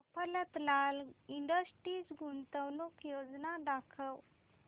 Mafatlal industries गुंतवणूक योजना दाखव